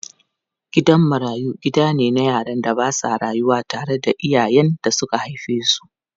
Gidan marayu gida ne na yaran da ba sa rayuwa tare da iyayen da suka haife su.